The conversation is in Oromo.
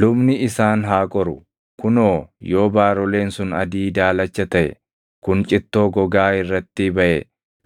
lubni isaan haa qoru; kunoo yoo baaroleen sun adii daalacha taʼe kun cittoo gogaa irratti baʼe